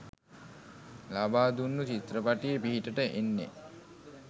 ලබාදුන්නු චිත්‍රපටිය පිහිටට එන්නේ.